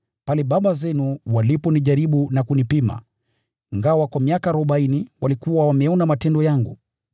ambapo baba zenu walinijaribu na kunipima ingawa kwa miaka arobaini walikuwa wameyaona matendo yangu.